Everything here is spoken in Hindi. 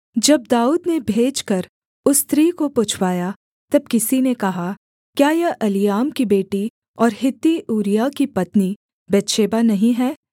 जब दाऊद ने भेजकर उस स्त्री को पुछवाया तब किसी ने कहा क्या यह एलीआम की बेटी और हित्ती ऊरिय्याह की पत्नी बतशेबा नहीं है